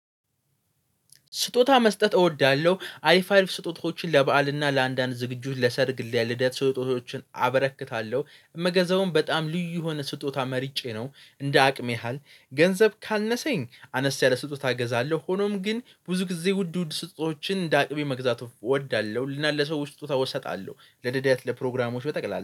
ስጦታ መስጠት እወዳለሁ አይፋሪፍ ስጦታዎችን ለበአል እና ለአንዳንድ ዝግጁ ለሰርግሌ ልደት ስጦታዎችን አበረክታለሁ መገዛውን በጣም ልዩ የሆነ ስጦታ መርጬ ነው። እንደ አቅም ያህል ገንዘብ ካነሰኝ አነስ ያለ ስጦታ እገዛለሁ። ሆኖም ግን ብዙ ጊዜ ውድ ውድ ስጦችን እንደ አቅሜ መግዛቱ እወዳለሁ። ልናል ለሰው ስጦታ ወሰጣለሁ ለደዳት ለፕሮግራሞች በጠቅላላ